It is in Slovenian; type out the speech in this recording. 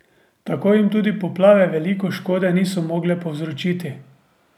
Tako jim tudi poplave veliko škode niso mogle povzročiti.